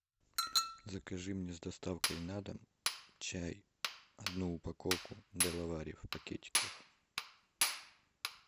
закажи мне с доставкой на дом чай одну упаковку делавари в пакетиках